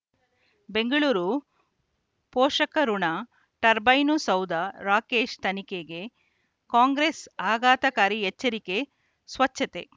ಬೆಂಗಳೂರು ಪೋಷಕಋಣ ಟರ್ಬೈನು ಸೌಧ ರಾಕೇಶ್ ತನಿಖೆಗೆ ಕಾಂಗ್ರೆಸ್ ಆಘಾತಕಾರಿ ಎಚ್ಚರಿಕೆ ಸ್ವಚ್ಛತೆ